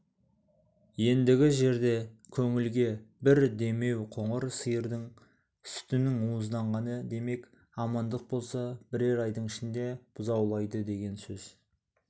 ендігі жерде көңілге бір демеуқоңыр сиырдың сүтінің уызданғаны демек амандық болса бірер айдың ішінде бұзаулайды деген сөз